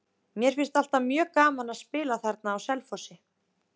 Mér finnst alltaf mjög gaman að spila þarna á Selfossi.